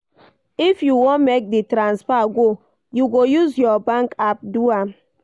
If you wan make di transfer go, you go use your bank app do am.